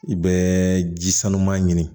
I bɛ ji sanuman ɲini